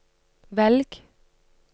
velg